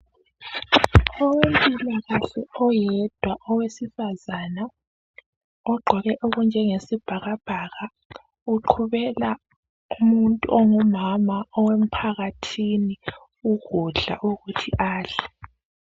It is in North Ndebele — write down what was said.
Owempilakahle oyedwa owesifazana ogqoke okunjengesibhakabhaka uqhubela umuntu ongumama owemphakathini ukudla ukuthi adle.